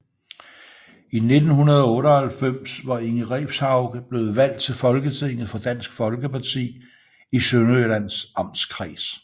I 1998 var Inge Refshauge blevet valgt til Folketinget for Dansk Folkeparti i Sønderjyllands Amtskreds